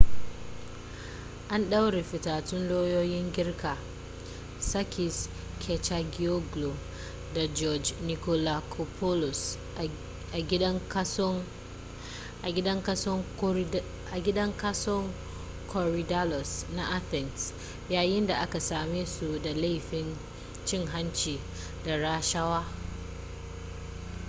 an ɗaure fitattun lauyoyin girka sakis kechagioglou da george nikolakopoulos a gidan kason korydallus na athens yayin da aka same su da laifin cin hanci da rashawa